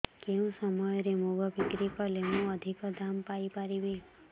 କେଉଁ ସମୟରେ ମୁଗ ବିକ୍ରି କଲେ ମୁଁ ଅଧିକ ଦାମ୍ ପାଇ ପାରିବି